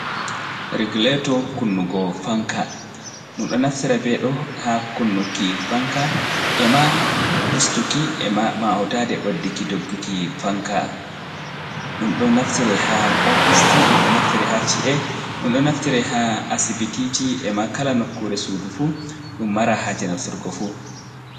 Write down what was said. Reguleto kunnugo fanka, ɗum ɗo naftira be ɗo ha kunnuki fanka e ma ustuki, ma houtade ɓeddukki dogguki fanka, ɗum ɗo naftira ha ofis ɗum ɗo naftiri ha chi’e, ɗum ɗo naftira ha asibitiji, ema kala nokkure sudu fu, ɗum mara haje naftirgo fu.